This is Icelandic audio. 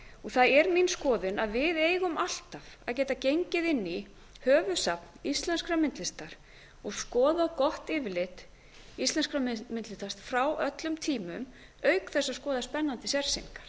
það er mín skoðun að við eigum alltaf að geta gengið inn í höfuðsafn íslenskrar myndlistar og skoðað gott yfirlit íslenskrar myndlistar frá öllum tímum auk þess að skoða spennandi sérsýningar